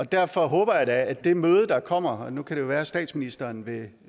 derfor håber jeg da at det møde der kommer nu kan det jo være at statsministeren vil